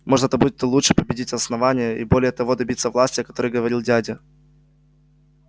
может это будет и лучше победить основание и более того добиться власти о которой говорил дядя